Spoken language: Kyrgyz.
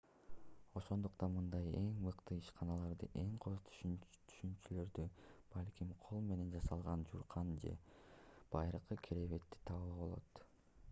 ошондуктан мындай эң мыкты ишканаларда эң кооз төшөнчүлөрдү балким кол менен жасалган жууркан же байыркы керебетти табууга болот